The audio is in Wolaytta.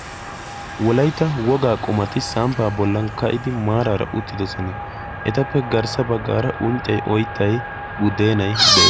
wolaytta wogaa qumati samppaa bollan ka'idi maaraara uttidosona etappe garssa baggaara unccay oyttay budeenay de'es